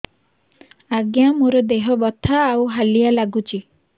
ଆଜ୍ଞା ମୋର ଦେହ ବଥା ଆଉ ହାଲିଆ ଲାଗୁଚି